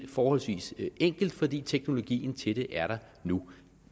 forholdsvis enkelt fordi teknologien til det er der nu